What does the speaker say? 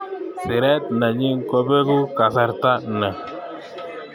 Siret nenyin kobeku kasarta ni.